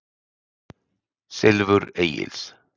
Silfur Egils.